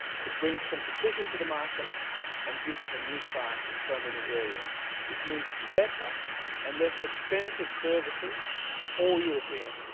It brings competition to the market and gives us a new start in so many areas, which means better and less expensive services for all Europeans.